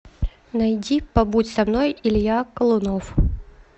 найди побудь со мной илья колунов